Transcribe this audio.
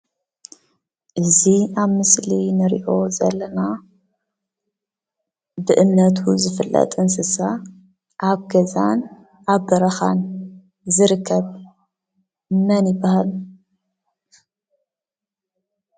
እዚ ኣብ ምስሊ ንሪኦ ዘለና ብእምነቱ ዝፍለጥ እንስሳ ኣብ ገዛን ኣብ በረኻን ዝርከብ መን ይበሃል?